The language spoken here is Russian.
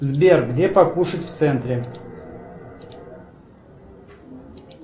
сбер где покушать в центре